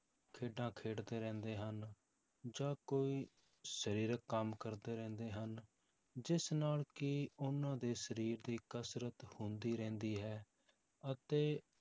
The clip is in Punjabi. ਖੇਡਾਂ ਖੇਡਦੇ ਰਹਿੰਦੇ ਹਨ ਜਾਂ ਕੋਈ ਸਰੀਰਕ ਕੰਮ ਕਰਦੇ ਰਹਿੰਦੇ ਹਨ, ਜਿਸ ਨਾਲ ਕੀ ਉਹਨਾਂ ਦੇ ਸਰੀਰ ਦੀ ਕਸ਼ਰਤ ਹੁੰਦੀ ਰਹਿੰਦੀ ਹੈ ਅਤੇ